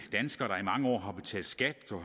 mange år har betalt skat